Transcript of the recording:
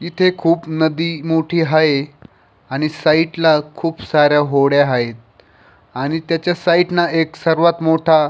इथे खूप नदी मोठी हाये आणि साईड ला खूप साऱ्या होड्या हायेत आणि त्याच्या साईड नं एक सर्वात मोठा--